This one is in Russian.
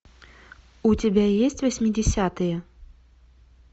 у тебя есть восьмидесятые